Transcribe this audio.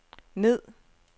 ned